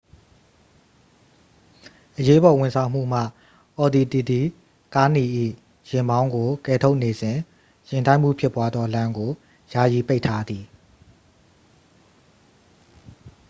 အရေးပေါ်ဝန်ဆောင်မှုမှ အော်ဒီတီတီကားနီ၏ ယာဉ်မောင်းကို ကယ်ထုတ်နေစဉ် ယာဉ်တိုက်မှုဖြစ်ပွားသော လမ်းကို ယာယီပိတ်ထားသည်